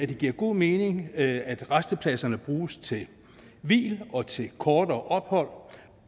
det giver god mening at rastepladserne bruges til hvil og til kortere ophold